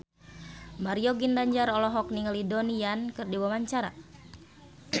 Mario Ginanjar olohok ningali Donnie Yan keur diwawancara